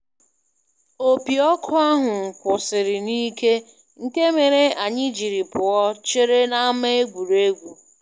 Opi ọkụ ahụ kwụsịrị n'ikè nke mere anyị jiri pụọ chere n'ama egwuregwu.